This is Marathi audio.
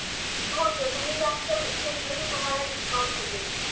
हो सर तुम्ही जास्त घेतल तर तुम्हाला डिस्काऊंट भेटेल